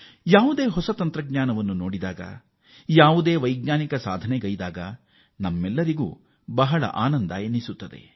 ನಾವು ಹೊಸ ತಂತ್ರಜ್ಞಾನ ನೋಡಿದಾಗ ಅಥವಾ ಹೊಸ ವೈಜ್ಞಾನಿಕ ಯಶಸ್ಸಿನ ಹೆಜ್ಜೆಯನ್ನು ಇಟ್ಟಾಗ ನಮಗೆ ಸಹಜವಾಗೇ ಸಂತಸ ಎನಿಸುತ್ತದೆ